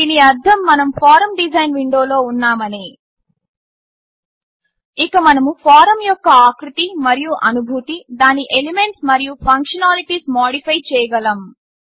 దీని అర్థం మనం ఫారమ్ డిజైన్ విండోలో ఉన్నామని ఇక మనము ఫారమ్ యొక్క ఆకృతి మరియు అనుభూతి దాని ఎలిమెంట్స్ మరియు ఫంక్షనాలిటీస్ మాడిఫై చేయగలము